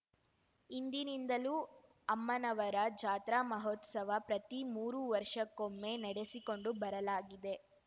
ಹಿಂದಿನಿಂದಲೂ ಅಮ್ಮನವರ ಜಾತ್ರಾ ಮಹೋತ್ಸವ ಪ್ರತಿ ಮೂರು ವರ್ಷಕ್ಕೊಮ್ಮೆ ನಡೆಸಿಕೊಂಡು ಬರಲಾಗಿದೆ